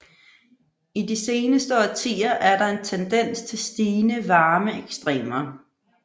I de seneste årtier er der en tendens til stigende varmeekstremer